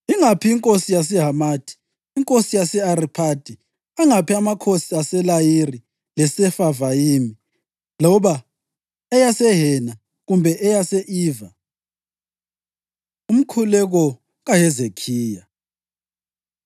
Ingaphi inkosi yaseHamathi, inkosi yase-Ariphadi, angaphi amakhosi aseLayiri leSefavayimi, loba eyaseHena kumbe eyase-Iva?” Umkhuleko KaHezekhiya